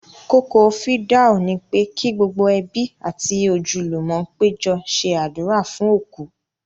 Kókó fìdáù ni pé kí gbogbo ẹbí àti ojúlùmọ̀ péjọ ṣe àdúrà fún òkú